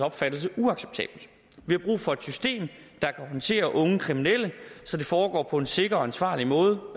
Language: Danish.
opfattelse uacceptabelt vi har brug for et system der kan håndtere unge kriminelle så det foregår på en sikker og ansvarlig måde